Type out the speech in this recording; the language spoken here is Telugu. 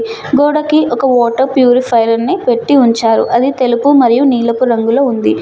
గోడకి ఒక వాటర్ ప్యూరిఫైయర్ ని పెట్టి ఉంచారు. అది తెలుపు మరియు నీలపు రంగులో ఉంది.